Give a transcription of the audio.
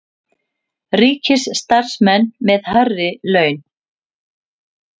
Ríkisstarfsmenn með hærri laun